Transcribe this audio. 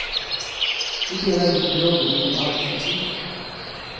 Vi delar inte på jobben utan på arbetslösheten.